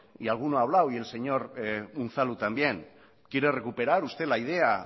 y alguna ha hablado y el señor unzalu también quiere recuperar usted la idea